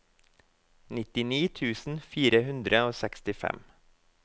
nittini tusen fire hundre og sekstifem